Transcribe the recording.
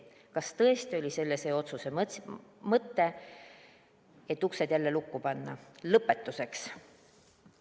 Kas tõesti oli selle otsuse mõte see, et uksed jälle lukku panna?